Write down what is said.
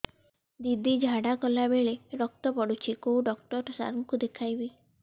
ଦିଦି ଝାଡ଼ା କଲା ବେଳେ ରକ୍ତ ପଡୁଛି କଉଁ ଡକ୍ଟର ସାର କୁ ଦଖାଇବି